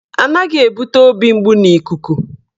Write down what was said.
Anaghị ebute obi mgbu n'ikuku